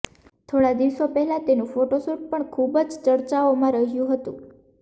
થોડા દિવસો પહેલા તેનું ફોટોશૂટ પણ ખૂબ જ ચર્ચાઓમાં રહ્યું હતું